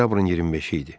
Oktyabrın 25-i idi.